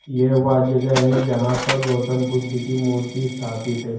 यह वह जगह है जहां पर गौतम बुध की मूर्ति स्थापित है।